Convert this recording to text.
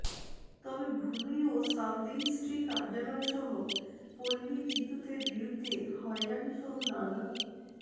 তবে ভূমি ও সাবরেজিস্ট্রি কার্যালয়সহ পল্লী বিদ্যুতের বিরুদ্ধে হয়রানিসহ নানা